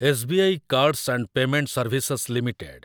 S B I cards and payment services limited